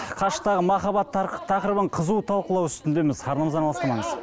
қашықтағы махаббат тақырыбын қызу талқылау үстіндеміз арнамыздан алыстамаңыз